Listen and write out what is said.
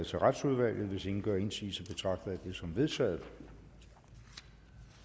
til retsudvalget hvis ingen gør indsigelse betragter jeg det som vedtaget